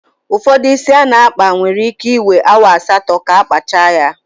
Ụfọdụ ísí a na-akpa nwere íké iwee awa asatọ ka akpacha ya.